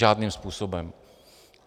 Žádným způsobem!